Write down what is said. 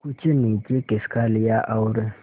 कुछ नीचे खिसका लिया और